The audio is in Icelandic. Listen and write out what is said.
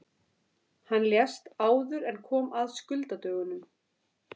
Hann lést áður en kom að skuldadögunum.